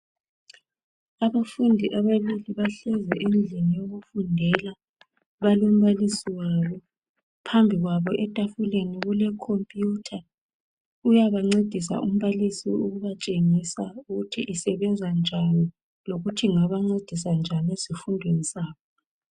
Abafundi ababili bahlezi endlini yokufundela balombalisi wabo. Phambi kwabo etafuleni kulekhompuyutha ,uyabancedisa umbalisi ukubatshengisa ukuthi isebenza njani lokuthi ingabanceda njani ezifundweni zabo.